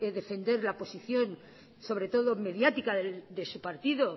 defender la posición sobre todo mediática de su partido